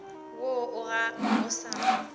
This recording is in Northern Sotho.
woo o ga o sa